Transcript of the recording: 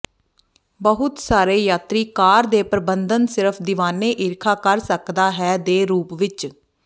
ਬਹੁਤ ਸਾਰੇ ਯਾਤਰੀ ਕਾਰ ਦੇ ਪਰਬੰਧਨ ਸਿਰਫ ਦੀਵਾਨੇ ਈਰਖਾ ਕਰ ਸਕਦਾ ਹੈ ਦੇ ਰੂਪ ਵਿੱਚ